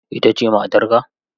Ita ce matarka?